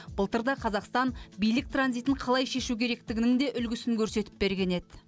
былтыр да қазақстан билік транзитін қалай шешу керектігінің де үлгісін көрсетіп берген еді